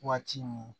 Waati min